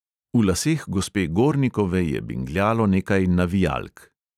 V laseh gospe gornikove je bingljalo nekaj navijalk.